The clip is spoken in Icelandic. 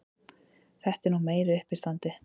Þetta er nú meira uppistandið!